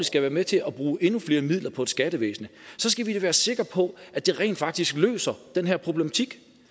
skal være med til at bruge endnu flere midler på et skattevæsen skal vi da være sikre på at det rent faktisk løser den her problematik